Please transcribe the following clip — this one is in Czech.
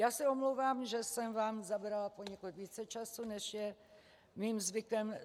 Já se omlouvám, že jsem vám zabrala poněkud více času, než je mým zvykem.